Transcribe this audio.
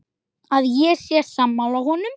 Að ég sé sammála honum.